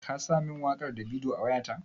Ka sa min waƙar Davido a wayata?